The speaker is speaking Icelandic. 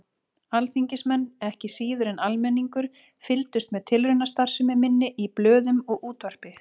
Alþingismenn, ekki síður en almenningur, fylgdust með tilraunastarfsemi minni í blöðum og útvarpi.